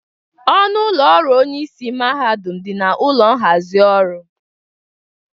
Ọnụ ụlọ ọrụ onyeisi mahadum dị na ụlọ nhazị ọrụ.